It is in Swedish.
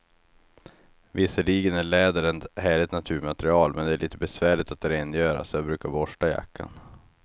Visserligen är läder ett härligt naturmaterial, men det är lite besvärligt att rengöra, så jag brukar borsta jackan.